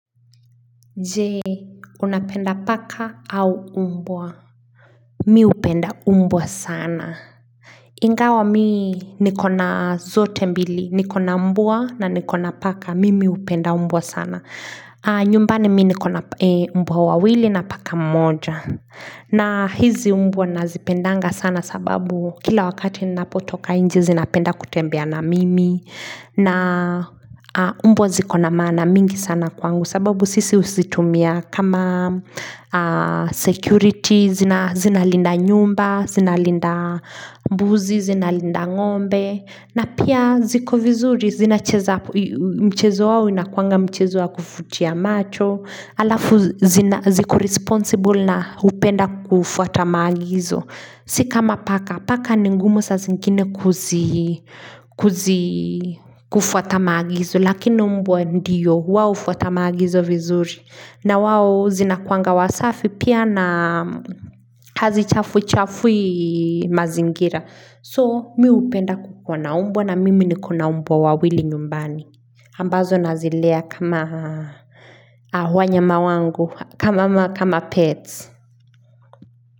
Je, unapenda paka au umbwa? Mi hupenda umbwa sana. Ingawa mi nikona zote mbili. Nikona umbua na nikona paka. Mimi hupenda umbwa sana. Nyumbani mi nikona umbwa wawili na paka mmoja. Na hizi umbwa nazipendanga sana sababu kila wakati ninapotoka nje zinapenda kutembea na mimi. Na umbwa zikona maana mingi sana kwangu sababu sisi huzitumia kama security zinalinda nyumba, zinalinda mbuzi, zinalinda ng'ombe na pia ziko vizuri, zinacheza mchezo wao inakuanga mchezo wa kuvutia macho alafu ziko responsible na hupenda kufuata maagizo Si kama paka, paka ni ngumu saa zingine kufuata maagizo. Lakini umbwa ndio, wao hufuata maagizo vizuri. Na wao zinakuwanga wasafi pia na hazichafui chafui mazingira. So mi hupenda kukuwa na umbwa na mimi nikona umbwa wawili nyumbani. Ambazo nazilea kama wanyama wangu, kama pets.